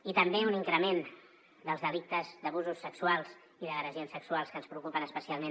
i també un increment dels delictes d’abusos sexuals i d’agressions sexuals que ens preocupen especialment